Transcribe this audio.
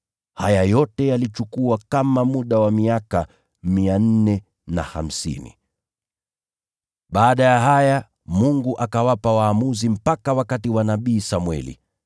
Haya yote yalichukua kama muda wa miaka 450. “Baada ya haya, Mungu akawapa waamuzi mpaka wakati wa nabii Samweli.